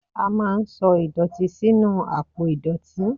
a ma n sọ idotí sinú apò idotí